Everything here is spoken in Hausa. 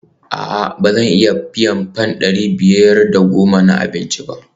A'a ba zan iya biyan fam dari biyar da goma na abinci ba?